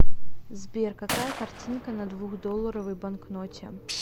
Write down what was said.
сбер какая картинка на двухдолларовой банкноте